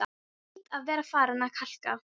Ég hlýt að vera farin að kalka,